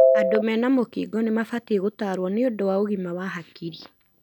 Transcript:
Andũ mena mũkingo nĩmabatie gũtarwo nĩũndũ wa ũgima wa hakiri.